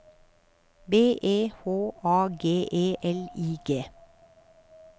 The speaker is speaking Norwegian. B E H A G E L I G